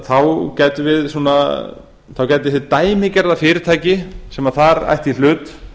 þá gæti hið dæmigerða fyrirtæki sem þar ætti í hlut